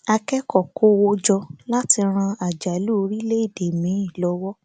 akẹkọọ kó owó jọ láti ran àjálù orílẹèdè míì lówó